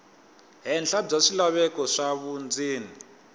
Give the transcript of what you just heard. henhla bya swilaveko swa vundzeni